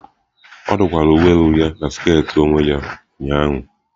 Ọ dụkwara uwe elu ya na sket onwe ya ụnyahụ.